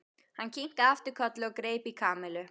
Hann kinkaði aftur kolli og greip í Kamillu.